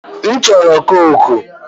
A chọrọ m kooku.